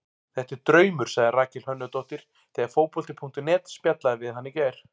Þetta er draumur, sagði Rakel Hönnudóttir þegar Fótbolti.net spjallaði við hana í gær.